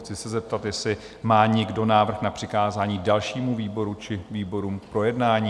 Chci se zeptat, jestli má někdo návrh na přikázání dalšímu výboru či výborům k projednání?